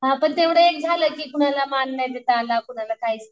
हां पण तेवढे एक झाले की कोणाला मान नाही देता आला कोणाला काहीच